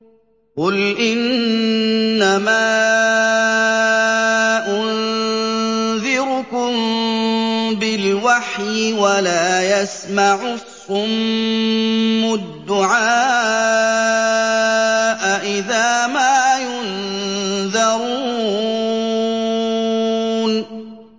قُلْ إِنَّمَا أُنذِرُكُم بِالْوَحْيِ ۚ وَلَا يَسْمَعُ الصُّمُّ الدُّعَاءَ إِذَا مَا يُنذَرُونَ